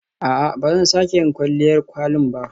A'a, ba zan sake yin kwalliyar kwalin ba.